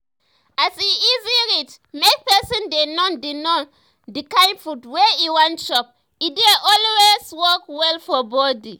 as e easy reach make person dey know the know the kind food wey e wan chop e dey alway work well for body